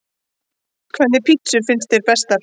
Hvernig pizzur finnst þér bestar?